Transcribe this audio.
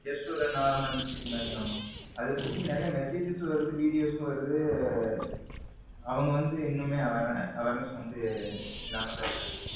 Just ஒர normal message மாதிரி அதை பத்தி நிறைய messages வருது videos வருது அவங்க வந்து இன்னுமே awareness இல்லாம தான் இருக்காங்க.